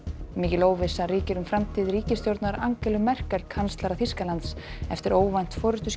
óvissa ríkir um framtíð ríkisstjórnar Angelu Merkel kanslara Þýskalands eftir óvænt